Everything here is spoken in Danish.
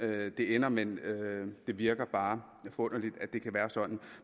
det ender men det virker bare for underligt at det kan være sådan